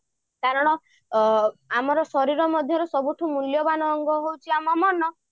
କାରଣ ଆମର ଶରୀର ମଧ୍ୟରେ ସବୁଠାରୁ ମୂଲ୍ଯବାନ ଅଙ୍ଗ ହଉଛି ଆମ ମନ